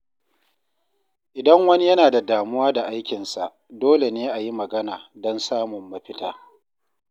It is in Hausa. Idan wani yana da damuwa da aikinsa, dole ne a yi magana don samun mafita.